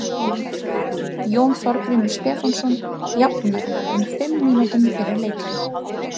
Jón Þorgrímur Stefánsson jafnaði um fimm mínútum fyrir leikhlé.